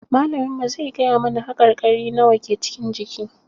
Malamin mu zai gaya mana haƙarƙari nawa ke cikin jiki